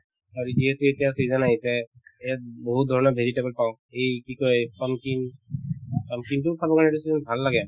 আৰু যিহেতু এতিয়া season আহিছে ইয়াত বহুত ধৰণৰ vegetable পাওঁ এই কি কই pumpkin pumpkin তো খাব লাগে এইটো season ত ভাল লাগে